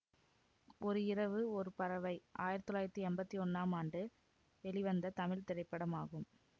ஒரு இரவு ஒரு பறவை ஆயிரத்தி தொள்ளாயிரத்தி எம்பத்தி ஒன்னாம் ஆண்டு வெளிவந்த தமிழ் திரைப்படமாகும்